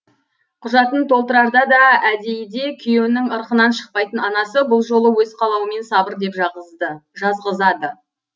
құжатын толтырарда да әдейіде күйеуінің ырқынан шықпайтын анасы бұл жолы өз қалауымен сабыр деп жазғызады